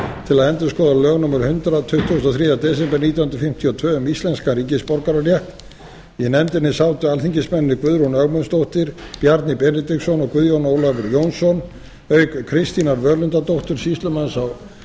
til að endurskoða lög númer hundrað tuttugasta og þriðja desember nítján hundruð fimmtíu og tvö um íslenskan ríkisborgararétt í nefndinni sátu alþingismennirnir guðrún ögmundsdóttir bjarni benediktsson og guðjón ólafur jónsson auk kristínar völundardóttur sýslumanns á